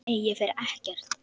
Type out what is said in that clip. Nei, ég fer ekkert.